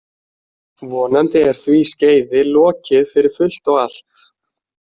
Vonandi er því skeiði lokið fyrir fullt og allt.